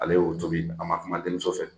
Ale y'o tobi a ma kuma denmuso fɛ